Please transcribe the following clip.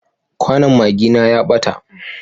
Kwanon magina ya ɓata.